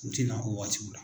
U ti na o waatiw la.